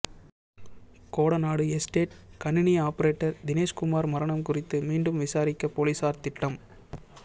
Kodanad estate கணினி operator Dineshkumar மரணம் குறித்து மீண்டும் விசாரிக்க போலீசார் திட்டம்